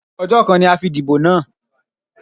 Ọjọ́ kan ni a fi dìbò náà.